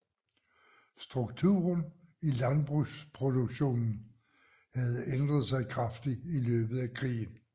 Strukturen i landbrugsproduktionen havde ændret sig kraftigt i løbet af krigen